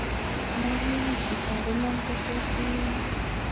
Ndakiwu chitab iman kotos iunee